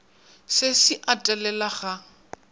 se se a telela ga